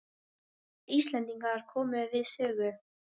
Tveir Íslendingar komu við sögu.